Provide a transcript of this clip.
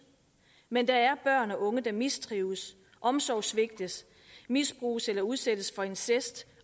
men der er børn og unge der mistrives omsorgssvigtes misbruges eller udsættes for incest